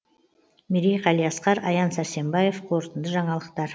мерей қалиасқар аян сарсембаев қорытынды жаңалықтар